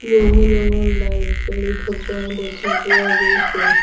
বহু ৰঙৰ লাইট জ্বলি থকা দেখা পোৱা গৈছে।